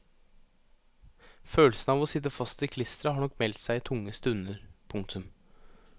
Følelsen av å sitte fast i klisteret har nok meldt seg i tunge stunder. punktum